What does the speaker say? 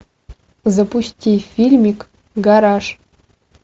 запусти фильмик гараж